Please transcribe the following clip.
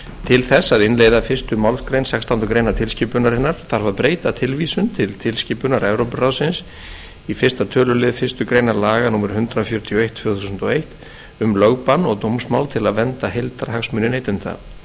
til þess að innleiða fyrstu málsgrein sextándu grein tilskipunarinnar þarf að breyta tilvísun til tilskipunar evrópuráðsins í fyrsta tl fyrstu grein laga númer hundrað fjörutíu og eitt tvö þúsund og eitt um lögbann og dómsmál til að vernda heildarhagsmuni neytenda